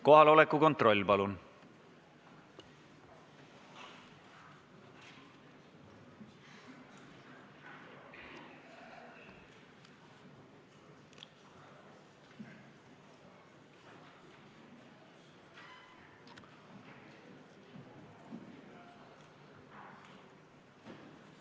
Kohaloleku kontroll, palun!